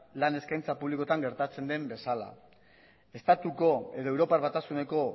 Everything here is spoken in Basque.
lan eskaintza publikoetan gertatzen den bezala estatuko edo europar batasuneko